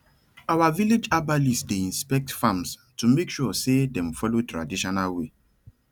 our village herbalist dey inspect farms to make sure say dem follow traditional way